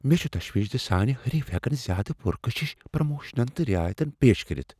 مےٚ چھ تشویش زِ سانہِ حریف ہیکن زیادٕ پر کشش پروموشن تہٕ رعایِتہٕ پیش کٔرتھ ۔